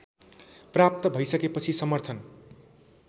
प्राप्त भैसकेपछि समर्थन